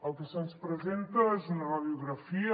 el que se’ns presenta és una radiografia